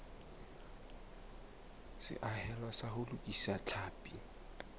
seahelo sa ho lokisa tlhapi